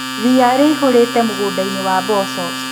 Ria rĩihũrĩte mũgundainĩ wa mboco.